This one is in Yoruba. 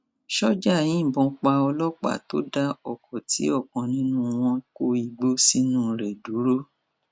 ṣọjà yìnbọn pa ọlọpàá tó dá ọkọ tí ọkan nínú wọn kó igbó sínú rẹ dúró